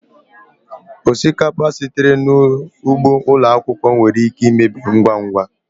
Osikapa sitere n'ugbo ụlọ akwụkwọ nwere ike imebi ngwa ngwa